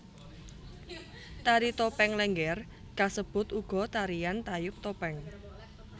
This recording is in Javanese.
Tari topeng Lénggér kasebut uga tarian tayub topeng